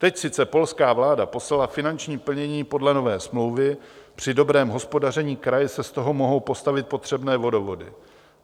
Teď sice polská vláda poslala finanční plnění podle nové smlouvy, při dobrém hospodaření kraje si z toho mohou postavit potřebné vodovody.